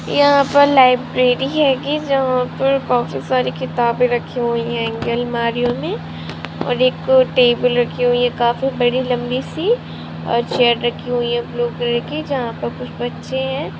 यहाँ पर लाइब्रेरी हैगी जहाँ पर काफी सारी किताबे रखी हुई हैगी अलमारियों मै और एक अ टेबल रखी हुई है काफी बरी लम्बी सी और चेयर रखी हुई है ब्लू कलर जहाँ पर कुछ बच्चे है।